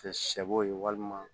Kɛ sɛ bo ye walima